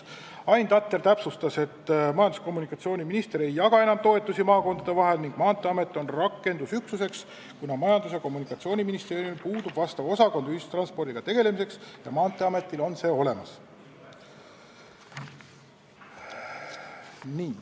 Ain Tatter täpsustas, et majandus- ja kommunikatsiooniminister ei jaga enam toetusi maakondade vahel ning rakendusüksuseks on Maanteeamet, kuna Majandus- ja Kommunikatsiooniministeeriumil ei ole osakonda, mis tegeleks ühistranspordiga, ja Maanteeametil on see olemas.